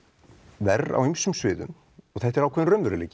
verr á ýmsum sviðum og þetta er ákveðinn raunveruleiki